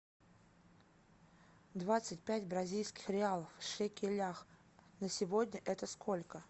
двадцать пять бразильских реалов в шекелях на сегодня это сколько